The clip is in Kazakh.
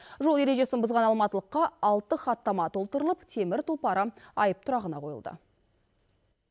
жол ережесін бұзған алматылыққа алты хаттама толтырылып темір тұлпары айып тұрағына қойылды